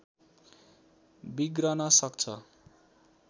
बिग्रन सक्छ